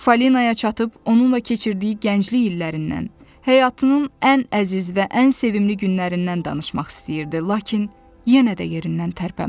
Falinaya çatıb onunla keçirdiyi gənclik illərindən, həyatının ən əziz və ən sevimli günlərindən danışmaq istəyirdi, lakin yenə də yerindən tərpənmədi.